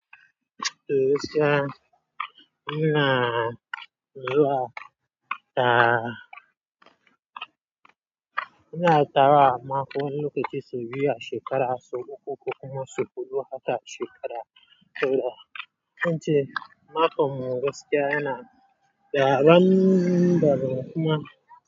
Eh gaskiya ina zuwa da ina tara a makon lokaci sau biyu a shekara, sau uku kuma sau huɗu haka a shekara guda. Ko ince makon mu gaskiya yana dabaan daban kuma.